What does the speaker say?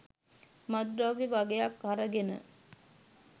මත්ද්‍රව්‍ය වගයක් අරගෙන